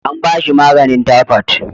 An ba shi maganin taifot